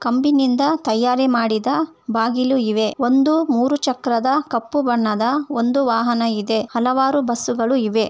ಕಂಬಿಯಿಂದ ತಯಾರು ಮಾಡಿದ ಬಾಗಿಲು ಇವೆ ಮತ್ತು ಒಂದು ಮೂರು ಚಕ್ರದ ಕಪ್ಪು ಬಣ್ಣದ ಒಂದು ವಾಹನವಿದೆ ಹಲವಾರು ಬಸ್ಸುಗಳಿವೆ.